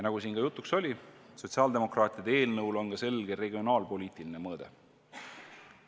Nagu siin juba jutuks oli, sotsiaaldemokraatide eelnõul on ka selge regionaalpoliitiline mõõde.